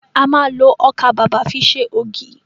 A ma lo ọkà bàbà fi ṣe ògì